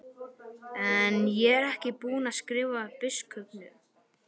En ég er ekki búinn að skrifa biskupnum.